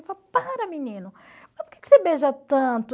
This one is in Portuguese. Eu falava, para menino, mas por que que você beija tanto?